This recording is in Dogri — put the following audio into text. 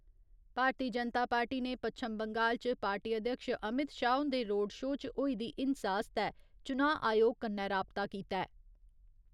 भारतीय जनता पार्टी ने पच्छम बंगाल च पार्टी अध्यक्ष अमित शाह हुन्दे रोड शो च होई दी हिंसा आस्तै चुनांऽ आयोग कन्नै राबता कीता ऐ।